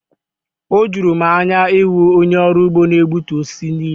O juru m anya ịhụ onye ọrụ ugbo na-egbutu osisi niile.